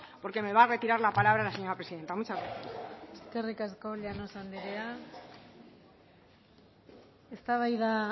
porque me va a retirar la palabra la señora presidenta muchas gracias eskerrik asko llanos andrea eztabaida